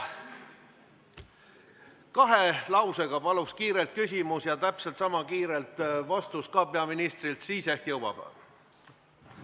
Kahe lausega paluks kiiresti sõnastada küsimus ja täpselt sama pikk vastus anda ka peaministril, siis ehk jõuab.